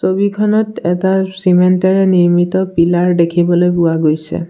ছবিখনত এটা চিমেণ্টৰে নিৰ্মিত পিলাৰ দেখিবলৈ পোৱা গৈছে।